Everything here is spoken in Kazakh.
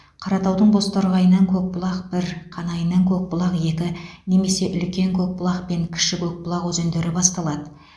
қаратаудың бозторғайынан көкбұлақ бір қанайынан көкбұлақ екі немесе үлкен көкбұлақ пен кіші көкбұлақ өзендері басталады